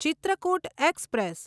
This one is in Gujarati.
ચિત્રકૂટ એક્સપ્રેસ